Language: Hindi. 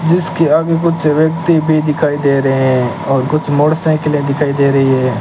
जिसके आगे कुछ व्यक्ति भी दिखाई दे रहे हैं और कुछ मोटरसाइकिलें दिखाई दे रही है।